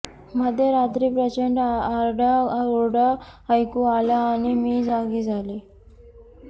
मध्यरात्री प्रचंड आरडाओरडा ऐकू आला आणि मी जागी झाले